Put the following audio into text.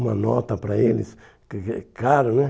Uma nota para eles, que que que é caro, né?